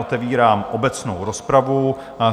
Otevírám obecnou rozpravu.